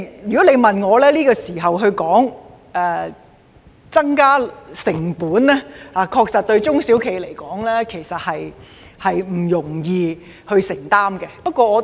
如果你問我，在這時候增加成本，中小企確實不容易承擔。